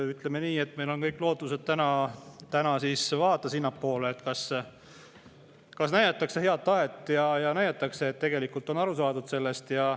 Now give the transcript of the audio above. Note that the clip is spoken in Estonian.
Ütleme nii, et me vaatame täna lootusega sinnapoole, et kas näidatakse head tahet ja näidatakse, et tegelikult on sellest aru saadud.